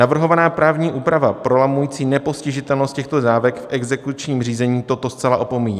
Navrhovaná právní úprava prolamující nepostižitelnost těchto dávek v exekučním řízení toto zcela opomíjí.